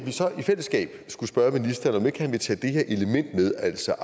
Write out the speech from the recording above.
så i fællesskab skulle spørge ministeren om ikke han vil tage det her element med altså